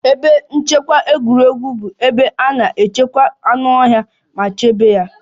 Ebe nchekwa egwuregwu bụ ebe a na-echekwa anụ ọhịa ma chebe ya